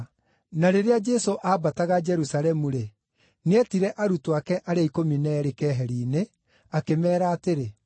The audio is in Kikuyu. Na rĩrĩa Jesũ aambataga Jerusalemu-rĩ, nĩetire arutwo ake arĩa ikũmi na eerĩ keheri-inĩ akĩmeera atĩrĩ,